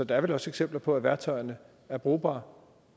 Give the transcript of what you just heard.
der er vel også eksempler på at værktøjerne er brugbare